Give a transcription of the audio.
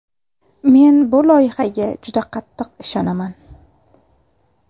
Men bu loyihaga juda qattiq ishonaman.